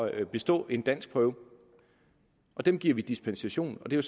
at bestå en danskprøve og dem giver vi dispensation og det er